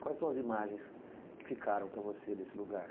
Quais são as imagens que ficaram para você desse lugar?